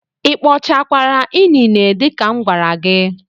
Ị kpochakwara inine dị ka m gwara gị?